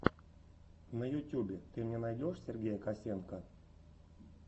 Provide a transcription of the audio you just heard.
на ютюбе ты мне найдешь сергея косенко